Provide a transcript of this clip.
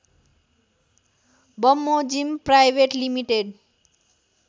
बमोजिम private limited